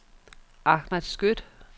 Ahmad Skøtt